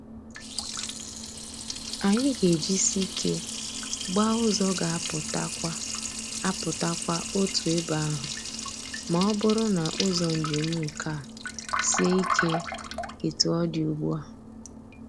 Anyị ga-ejisi ike gbaa ụzọ ga apụta kwa apụta kwa otu ebe ahụ ma ọ bụrụ na ụzọ njem nke a sie ike etu ọ dị ugbu a.